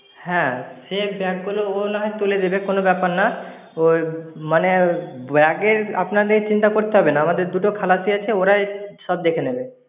হ্যাঁ, সে bag গুলো ও নয় তুলে দেবে কোনো ব্যাপার না, ওই মানে bag আপনাদের চিন্তা করতে হবে না, আমাদের দুটো খালাসি আছে ওরাই সব দেখে নেবে।